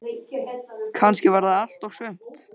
Kannski var það allt og sumt.